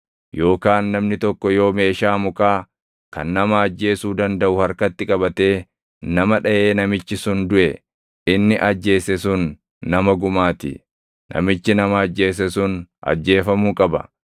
Yookaan namni tokko yoo meeshaa mukaa kan nama ajjeesuu dandaʼu harkatti qabatee nama dhaʼee namichi sun duʼe, inni ajjeese sun nama gumaa ti; namichi nama ajjeese sun ajjeefamuu qaba.